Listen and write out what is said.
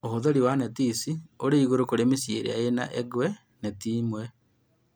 Ũhũthĩri wa neti ici ũrĩ igũrũ kũrĩ mĩciĩ ĩrĩa ĩna engwe neti ĩmwe